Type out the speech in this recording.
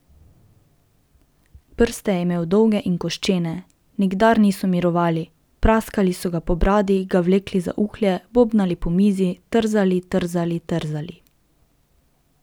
Prste je imel dolge in koščene, nikdar niso mirovali, praskali so ga po bradi, ga vlekli za uhlje, bobnali po mizi, trzali, trzali, trzali.